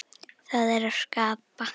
Það er að skapa.